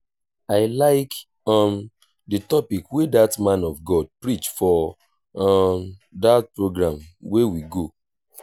i like um the topic wey dat man of god preach for um dat program we go